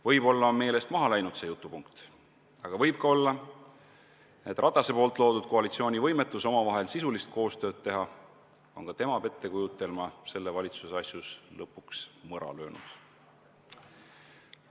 Võib-olla on see jutupunkt meelest ära läinud, aga võib ka olla, et Ratase loodud koalitsiooni võimetus omavahel sisulist koostööd teha on ka tema pettekujutelma selle valitsuse asjus lõpuks mõra löönud.